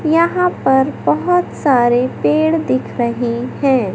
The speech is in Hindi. यहां पर बहुत सारे पेड़ दिख रहे हैं।